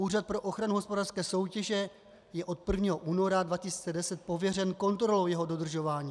Úřad pro ochranu hospodářské soutěže je od 1. února 2010 pověřen kontrolou jeho dodržování.